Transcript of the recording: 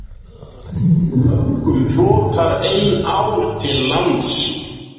Mörgum flotar ein ár til lands.